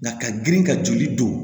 Na ka girin ka joli don